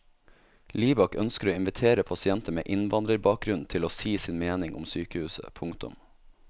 Libak ønsker å invitere pasienter med innvandrerbakgrunn til å si sin mening om sykehuset. punktum